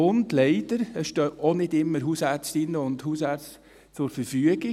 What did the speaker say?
Und leider stehen gerade in den Randzeiten auch nicht immer Hausärztinnen und Hausärzte zur Verfügung.